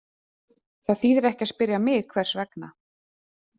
Það þýðir ekki að spyrja mig hvers vegna.